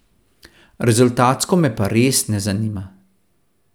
Rezultatsko me pa res ne zanima.